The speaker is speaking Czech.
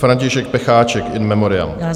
František Pecháček, in memoriam.